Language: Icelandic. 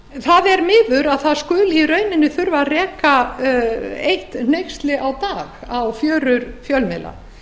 það er miður að það skuli í rauninni þurfa að reka eitt hneyksli á dag á fjörur fjölmiðla